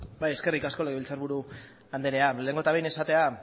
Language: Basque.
bai eskerrik asko legebiltzarburu andrea lehenengo eta behin esatea